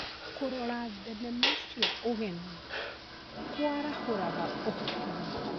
Kũrora thenema cia ũgeni kũarahũraga ũhoti witũ.